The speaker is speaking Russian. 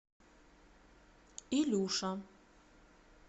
илюша